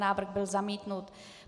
Návrh byl zamítnut.